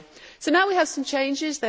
So now we have some changes.